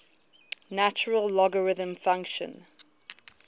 natural logarithm function